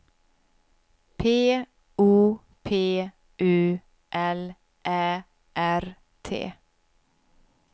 P O P U L Ä R T